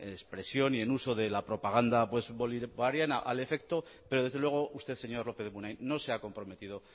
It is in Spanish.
expresión y en uso de la propaganda bolivariana al efecto pero desde luego usted señor lópez de munain no se ha comprometido